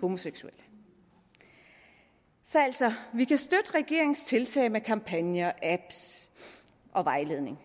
homoseksuelle så altså vi kan støtte regeringens tiltag med kampagner apps og vejledning